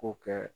K'o kɛ